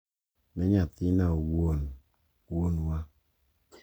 Ne nyathina owuon, Wuonwa